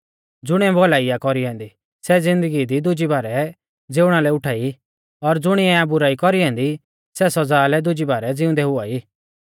ज़ुणिऐ भौलाई आ कौरी ऐन्दी सै ज़िन्दगी दी दुजी बारै ज़िउणा लै उठाई और ज़ुणिऐ आ बुराई कौरी ऐन्दी सै सौज़ा लै दुजी बारै ज़िउंदै हुआई